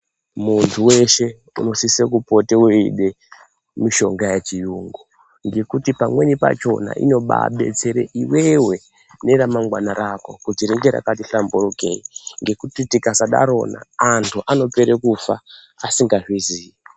Muntu weshe anosise kupota weida mushonga yechiyungu nekuti pamweni pachona unoba betsere iwewe neramangwana rako kuti ringe rakati hlamburukeyi ngekuti tikasadarona antu anopera kufa asi ngazvizivi.